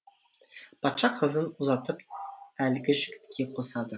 патша қызын ұзатып әлгі жігітке қосады